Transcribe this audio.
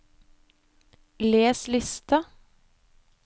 les liste